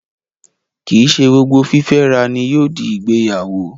Kìí ṣe gbogbo fífẹ́ra ni yóò di ìgbéyàwó